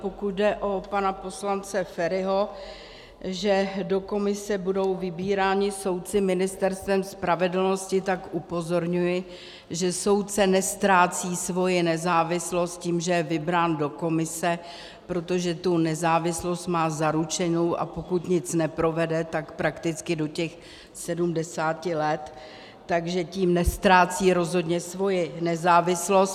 Pokud jde o pana poslance Feriho, že do komise budou vybíráni soudci Ministerstvem spravedlnosti, tak upozorňuji, že soudce neztrácí svoji nezávislost tím, že je vybrán do komise, protože tu nezávislost má zaručenou, a pokud nic neprovede, tak prakticky do těch 70 let, takže tím neztrácí rozhodně svoji nezávislost.